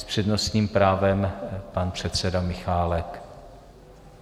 S přednostním právem pan předseda Michálek.